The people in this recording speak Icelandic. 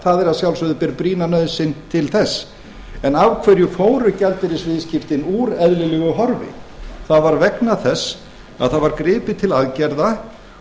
það að sjálfsögðu ber brýna nauðsyn til þess en af hverju fóru gjaldeyrisviðskiptin úr eðlilegu horfi það var vegna þess að það var gripið til aðgerða